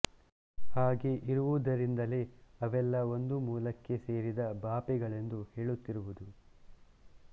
ಹಾಗೆ ಇರುವುದರಿಂದಲೇ ಅವೆಲ್ಲಾ ಒಂದು ಮೂಲಕ್ಕೆ ಸೇರಿದ ಭಾಪೆಗಳೆಂದು ಹೇಳುತ್ತಿರುವುದು